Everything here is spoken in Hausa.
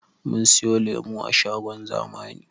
Mun siyo lemo a shagon zamani